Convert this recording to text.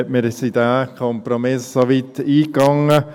Wir sind diesen Kompromiss so weit eingegangen.